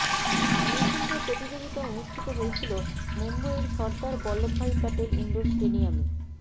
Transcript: miss India প্রতিযোগীতা অনুষ্ঠিত হয়েছিল মুম্বইয়ের সর্দার বল্লভভাই প্যাটেল ইন্ডোর স্টেডিয়ামে